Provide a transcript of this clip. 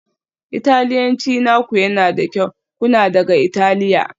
Italiyanci naku yana da kyau, kuna daga Italiya?